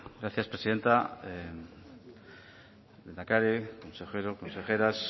gracias presidenta lehendakari consejero consejeras